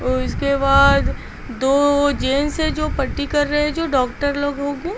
ओर उसके बाद दो जेंस है जो पट्टी कर रहे हैं जो डॉक्टर लोगो होगे ।